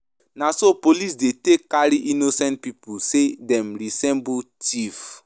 Na so police dey take carry innocent pipu sey dem resemble tif.